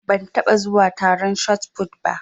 Ban taɓa zuwa taron shotput ba.